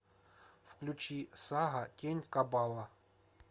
включи сага тень кабала